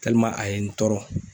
a ye n tɔɔrɔ